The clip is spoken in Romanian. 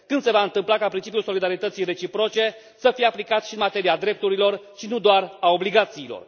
Când se va întâmpla ca principiul solidarității reciproce să fie aplicat și în materia drepturilor și nu doar a obligațiilor?